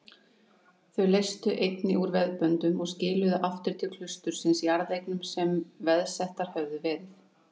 Þau leystu einnig úr veðböndum og skiluðu aftur til klaustursins jarðeignum sem veðsettar höfðu verið.